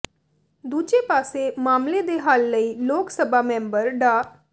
ਦੂਜੇ ਪਾਸੇ ਮਾਮਲੇ ਦੇ ਹੱਲ ਲਈ ਲੋਕ ਸਭਾ ਮੈਂਬਰ ਡਾ